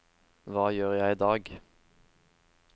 hva gjør jeg idag